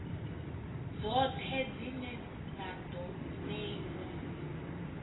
dzoṱhe dzine na ḓo ṋeiwa